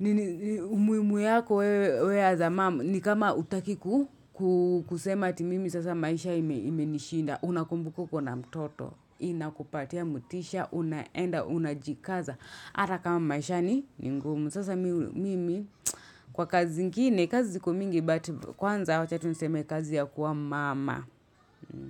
Nini umuhimu yako wewe we as mum ni kama hutakiku kusema ati mimi sasa maisha imenishinda Unakumbuka uko na mtoto Inakupatia motisha, unaenda, unajikaza Ata kama maisha ni ngumu Sasa mimi kwa kazi zingine, kazi ziko mingi But kwanza wacha tu niseme kazi ya kuwa mama.